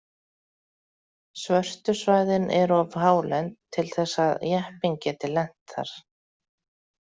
Svörtu svæðin eru of hálend til þess að jeppinn geti lent þar.